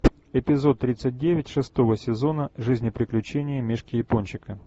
эпизод тридцать девять шестого сезона жизнь и приключения мишки япончика